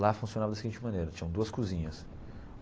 Lá funcionava da seguinte maneira, tinham duas cozinhas.